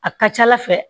A ka ca ala fɛ